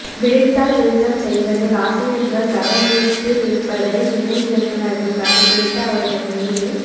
விடைத்தாள் திருத்தம் செய் வதில் ஆசிரியர்கள் தவறிழைத்து இருப்பதை இணை இயக்குநர்கள் கண்டுபிடித்து அவர்கள் மீது